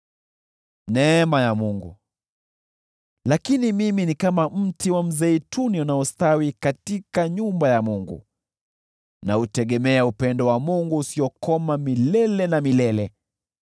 Lakini mimi ni kama mti wa mzeituni unaostawi katika nyumba ya Mungu, nautegemea upendo wa Mungu usiokoma milele na milele.